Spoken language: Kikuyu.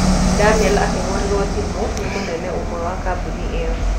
Daniel akĩhũrĩrũo thimũ nĩ mũnene ũmwe wa kambuni ĩyo.